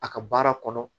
A ka baara kɔnɔ